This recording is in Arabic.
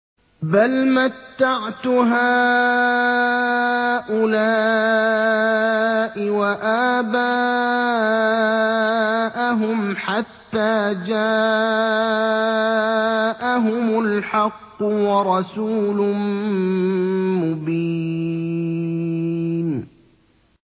بَلْ مَتَّعْتُ هَٰؤُلَاءِ وَآبَاءَهُمْ حَتَّىٰ جَاءَهُمُ الْحَقُّ وَرَسُولٌ مُّبِينٌ